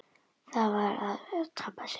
Það var að tapa sér.